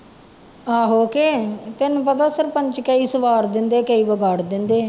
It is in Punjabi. ਆਹੋ ਕਿ ਤੈਨੂੰ ਪਤਾ ਸਰਪੰਚ ਕਈ ਸਵਾਰ ਦਿੰਦੇ ਆ ਕਈ ਵਿਗਾੜ ਦਿੰਦੇ ਹੈ